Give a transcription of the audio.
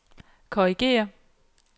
korrigér